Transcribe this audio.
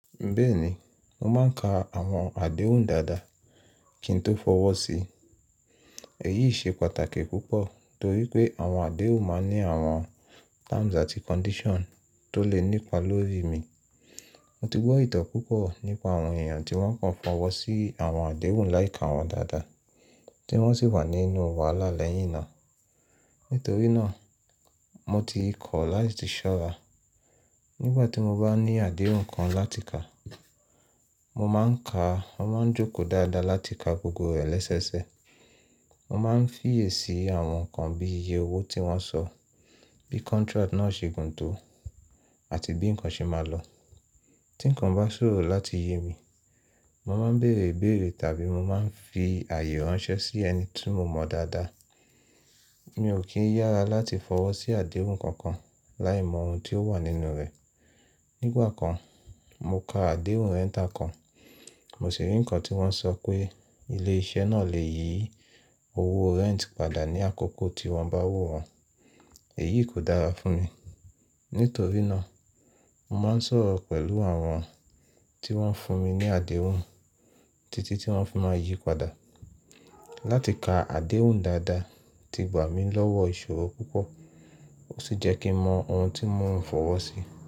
Bẹ́ẹ̀ni, mo máa ń ka àwọn àdéhùn dáadáa kí n tó fọwọ́ sí i. Èyí ṣe pàtàkì púpọ̀ torí pé àwọn àdéhùn máa ń ní àwọn terms àti condition tó lè nípa lórí mi. Mo ti gbọ́ ìtàn púpọ̀ nípa àwọn èèyàn tí wọ́n kàn fọwọ́ sí àwọn àdéhùn láì ka wọ́n dáadáa tí wọ́n sì wà nínú wàhálà lẹ́yìn náà. Nítorí náà, mo ti kọ̀ láti ṣọ́ra. Nígbà tí mo bá ní àdéhùn kan láti ka, mo máa ń ka, mo máa ń jókòó dáadáa láti ka gbogbo rẹ̀ lẹ́sẹẹsẹ. Mo máa ń fiyèsí àwọn nǹkan bí i iye owó tí wọ́n sọ, bí contract náà ṣe gùn tó àti bí nǹkan ṣe máa lọ. Tí nǹkan bá ṣòro láti yé mi, mo máa ń bèèrè ìbéèrè tàbí mo máa ń fi ààyè ránṣẹ́ sí ẹni tí mo mọ dáadáa. Mi ò kí ń yára láti fọwọ́ sí àdéhùn kankan láì mọ ohun tí ó wà nínú rẹ̀. Nígbà kan, mo ka àdéhùn rent kan, mo sì rí nǹkan tí wọ́n sọ pé ilé iṣẹ́ náà lè yí owó rent padà ní àkókò tí wọ́n bá wù wọ́n. Èyí kò dára fún mi. Nítorí náà, mo máa ń sọ̀rọ̀ pẹ̀lú àwọn tí wọ́n fún mi ní àdéhùn títí tí wọ́n fi máa yí padà. Láti ka àdéhùn dáadáa ti gbà mí lọ́wọ́ ìṣòro púpọ̀ ó sì jẹ́ kí n mọ ohun tí mò ń fọwọ́ sí.